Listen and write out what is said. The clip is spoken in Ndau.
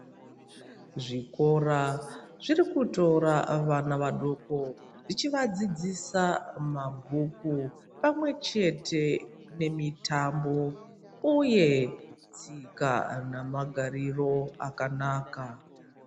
Zvikora zvirikutora vana vaduku zvichivadzidzisa mabhuku, pamwechete nemitambo uye tsika namagariro akanaka.